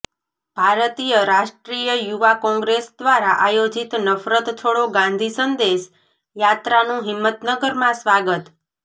ભારતીય રાષ્ટ્રીય યુવા કોંગ્રેસ દ્વારા આયોજિત નફરત છોડો ગાંધી સંદેશ યાત્રાનું હિંમતનગરમાં સ્વાગત